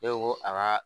Ne ko ko a ka